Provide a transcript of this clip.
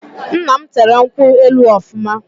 Nna m tere nkwu elu ọfụma